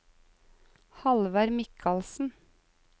Halvard Mikalsen